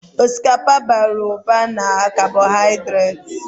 Osikapa bara ụba na kabohaidreti.